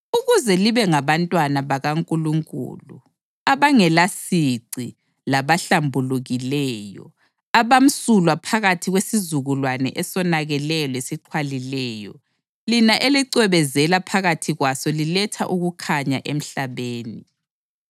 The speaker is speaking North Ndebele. ukuze libe ngabantwana bakaNkulunkulu abangelasici labahlambulukileyo, abamsulwa phakathi kwesizukulwane esonakeleyo lesixhwalileyo, lina elicwebezela phakathi kwaso liletha ukukhanya emhlabeni